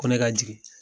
Ko ne ka jigin